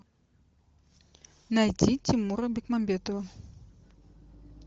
найди тимура бекмамбетова